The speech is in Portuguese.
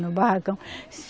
No barracão.